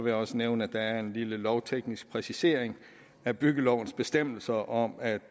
jeg også nævne at der er en lille lovteknisk præcisering af byggelovens bestemmelser om at